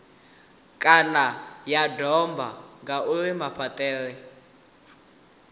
kana ya domba ngauri mafhaṱele